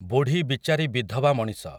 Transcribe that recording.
ବୁଢ଼ୀ ବିଚାରୀ ବିଧବା ମଣିଷ ।